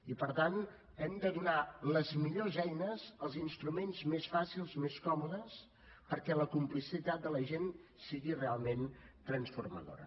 i per tant hem de donar les millors eines els instruments més fàcils més còmodes perquè la complicitat de la gent sigui realment transformadora